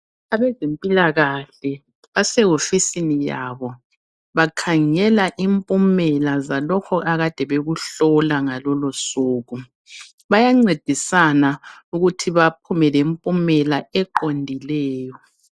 Abezempilakahle basehofisini yabo. Bakhangela impumela zalokho akade bekuhlola ngalolo suku. Bayancedisana ukuthi baphuma lemphumela eqondileyo.